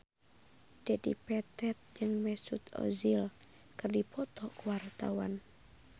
Dedi Petet jeung Mesut Ozil keur dipoto ku wartawan